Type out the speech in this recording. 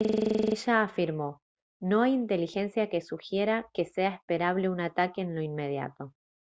ella afirmó: «no hay inteligencia que sugiera que sea esperable un ataque en lo inmediato